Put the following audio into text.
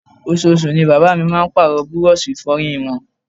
Oṣooṣù ni bàbá mi máa ń Pààrọ̀ búrọ́ọ̀ṣì Ìfọ̀yín wọn